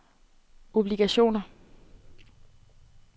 obligationer